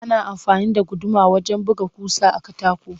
Ana amfani da guduma wajen buga ƙusa a katako